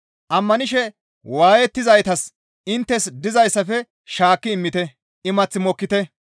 Ammanishe waayettizaytas inttes dizayssafe shaakki immite; imath mokkite.